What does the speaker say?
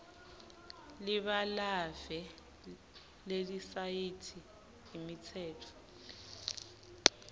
libalave lelisayithi imitsetfo